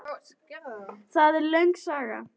Það er löng saga.